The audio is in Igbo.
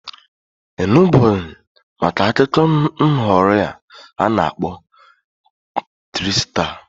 I nubugo maka akụkọ nghọrị a na-akpọ triksta?